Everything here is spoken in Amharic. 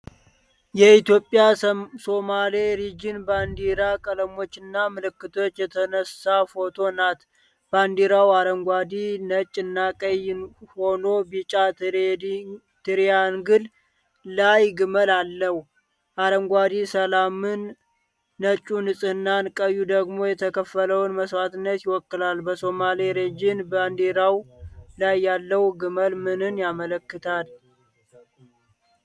በኢትዮጵያ ሶማሌ ሪጅን ባንዲራ ቀለሞችና ምልክት የተነሳች ፎቶ ናት። ባንዲራው አረንጓዴ፣ ነጭ እና ቀይ ሆኖ ቢጫ ትሪያንግል ላይ ግመል አለው። አረንጓዴው ሰላምን፣ ነጩ ንጽህናን፣ ቀዩ ደግሞ የተከፈለውን መስዋዕትነት ይወክላል። በሶማሌ ሪጅን ባንዲራ ላይ ያለው ግመል ምንን ያመለክታል?